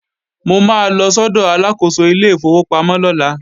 Mo máa lọ sọ́dọ̀ Aláàkóso ilé ìfowópamọ́ lọ́la